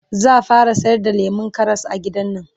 zaa fara sayar da lemun Karas a gidannan